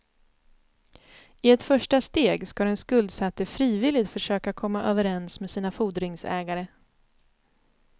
I ett första steg ska den skuldsatte frivilligt försöka komma överens med sina fordringsägare.